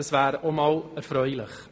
Das wäre erfreulich.